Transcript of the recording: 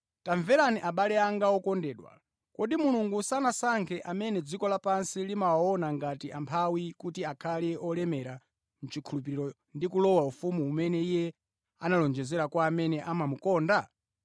Tamverani abale anga okondedwa, kodi Mulungu sanasankhe amene dziko lapansi limawaona ngati amphawi kuti akhale olemera mʼchikhulupiriro ndi kulowa ufumu umene Iye analonjeza kwa amene amamukonda?